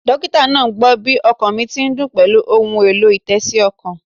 Dókítà náà gbó bí ọkàn mi ti ń dún pèlú ohun èlò-ìtésí okàn